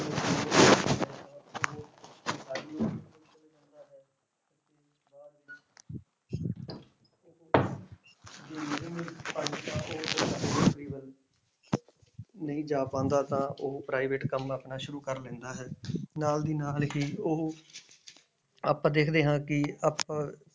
ਨਹੀਂ ਜਾ ਪਾਉਂਦਾ ਤਾਂ ਉਹ private ਕੰਮ ਆਪਣਾ ਸ਼ੁਰੂ ਕਰ ਲੈਂਦਾ ਹੈ ਨਾਲ ਦੀ ਨਾਲ ਹੀ ਉਹ ਆਪਾਂ ਦੇਖਦੇ ਹਾਂ ਕਿ ਆਪਾਂ